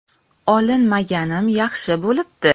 Olinmaganim yaxshi bo‘libdi.